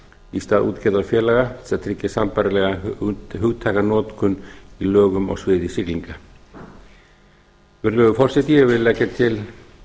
í stað útgerðarfélaga til að tryggja sambærilega hugtakanotkun í lögum á sviði siglinga virðulegur forseti ég vil leggja til